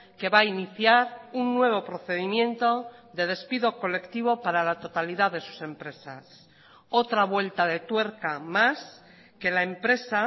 que va a iniciar un nuevo procedimiento de despido colectivo para la totalidad de sus empresas otra vuelta de tuerca más que la empresa